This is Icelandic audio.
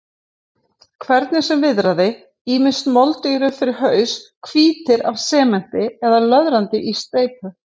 Hvernig sem viðraði, ýmist moldugir upp fyrir haus, hvítir af sementi eða löðrandi í steypu.